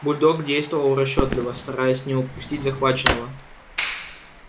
бульдог действовал расчётливо стараясь не упустить захваченного